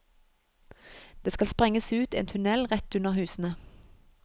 Det skal sprenges ut en tunnel rett under husene.